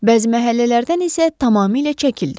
Bəzi məhəllələrdən isə tamamilə çəkildi.